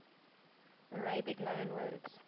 arabic loanwords